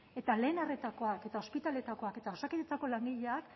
eta lehen arretakoak eta ospitaleetakoak eta osakidetzako langileak